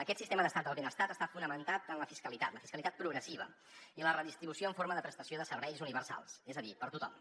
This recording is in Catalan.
aquest sistema d’estat del benestar està fonamentat en la fiscalitat la fiscalitat progressiva i la redistribució en forma de prestació de serveis universals és a dir per a tothom